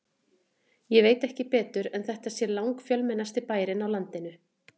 Ég veit ekki betur en þetta sé langfjölmennasti bærinn á landinu.